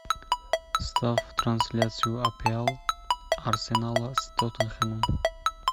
ставь трансляцию апл арсенала с тоттенхэмом